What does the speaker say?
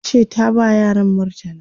tace ta ba yaran murtala